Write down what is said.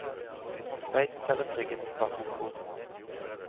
Sveits selger trygghet og status quo.